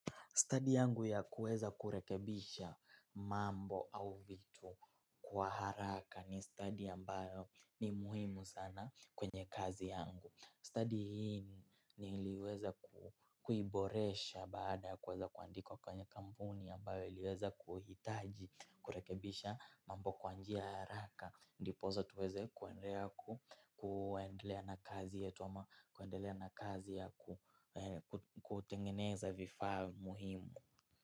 Stadi yangu ya kuweza kurekebisha mambo au vitu kwa haraka ni stadi ambayo ni muhimu sana kwenye kazi yangu. Stadi hii niliweza kuiboresha baada ya kuweza kuandikwa kwenye kampuni ambayo iliweza kuhitaji kurekebisha mambo kwa njia ya haraka. Ndiposa tuweze kuendelea na kazi yetu ama kuendelea na kazi ya kutengeneza vifaa muhimu.